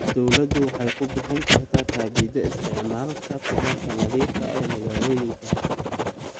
Dawladdu waxay ku bixin kartaa kabida isticmaalka tamarta nadiifka ah ee magaalooyinka.